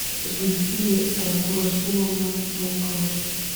зульфия абдурасуловна волкова